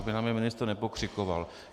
Aby na mě ministr nepokřikoval.